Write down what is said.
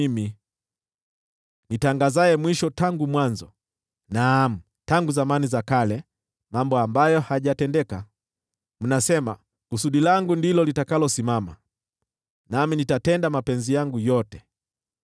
Ni mimi nitangazaye mwisho tangu mwanzo, naam, tangu zamani za kale, mambo ambayo hayajatendeka. Ninasema: Kusudi langu ndilo litakalosimama, nami nitatenda mapenzi yangu yote.